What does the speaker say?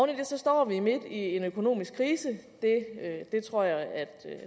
det står vi midt i en økonomisk krise det tror jeg at